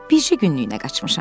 Bircə günlükünə qaçmışam.